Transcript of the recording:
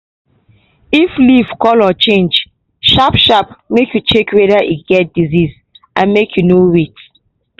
if leaf colour change sharp sharp make you check wether e get disease and make you no wait.